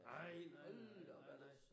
Nej nej nej nej nej